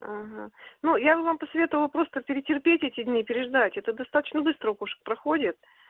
аха ну я же вам посоветовала просто перетерпеть эти дни переждать это достаточно быстро у кошек проходит